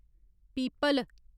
people